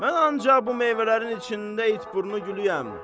Mən ancaq bu meyvələrin içində itburnu gülüəm.